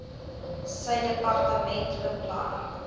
sy departement beplan